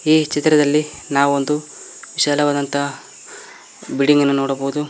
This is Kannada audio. ಈ ಚಿತ್ರದಲ್ಲಿ ನಾವು ವಿಶಾಲವಾದಂತ ಬಿಲ್ಡಿಂಗ್ ಅನ್ನ ನೋಡಬಹುದು.